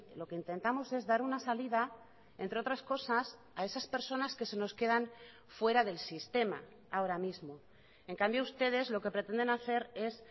lo que intentamos es dar una salida entre otras cosas a esas personas que se nos quedan fuera del sistema ahora mismo en cambio ustedes lo que pretenden hacer es